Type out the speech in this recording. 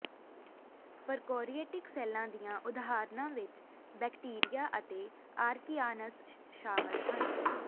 ਪ੍ਰਕੋਰੀਟਿਕ ਸੈੱਲਾਂ ਦੀਆਂ ਉਦਾਹਰਨਾਂ ਵਿੱਚ ਬੈਕਟੀਰੀਆ ਅਤੇ ਆਰਕਿਆਨਸ ਸ਼ਾਮਲ ਹਨ